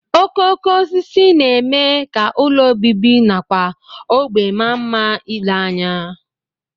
Okooko osisi na-eme ka ụlọ obibi nakwa ógbè maa mma ile anya